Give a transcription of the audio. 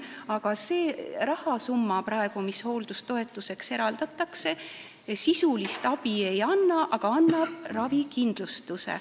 Aga see rahasumma, mis praegu hooldajatoetuseks eraldatakse, sisulist abi ei anna, aga annab ravikindlustuse.